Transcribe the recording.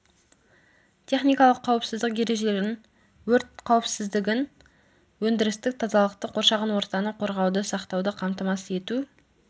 техникалық қауіпсіздік ережелерін өрт қауіпсіздігін өндірістік тазалықты қоршаған ортаны қорғауды сақтауды қамтамасыз ету